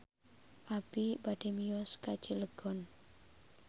Abi bade mios ka Cilegon